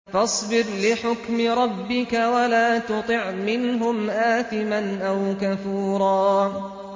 فَاصْبِرْ لِحُكْمِ رَبِّكَ وَلَا تُطِعْ مِنْهُمْ آثِمًا أَوْ كَفُورًا